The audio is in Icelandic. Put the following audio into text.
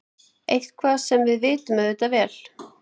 Eitthvað sem við vitum auðvitað vel.